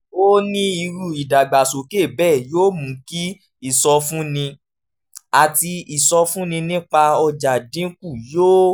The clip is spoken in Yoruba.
ó ó ní irú ìdàgbàsókè bẹ́ẹ̀ yóò mú kí ìsọfúnni àti ìsọfúnni nípa ọjà dín kù yóò